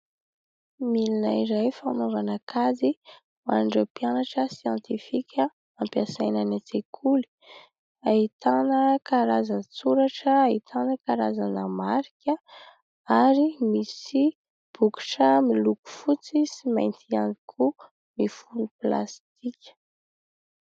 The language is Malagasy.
Milina iray fanaovana kajy ho an'ireo mpianatra siantifika, ampiasaina any an-tsekoly. Ahitana karazan-tsoratra, ahitana karazana marika ary misy bokotra miloko fotsy sy mainty ihany koa, mifono plasitika.